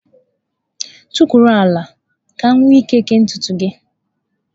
Tukwuru ala! Ka m wee ike kee ntutu gị.